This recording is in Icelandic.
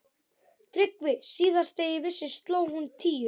TRYGGVI: Síðast þegar ég vissi sló hún tíu.